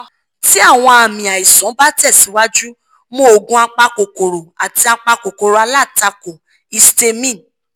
ti awọn aami aisan ba tẹsiwaju mu oogun apakokoro ati apakokoro alatako-histamine